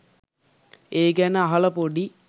ඒ ගැන අහලා පොඩි